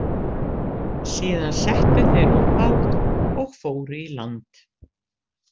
Síðan settu þeir út bát og fóru í land.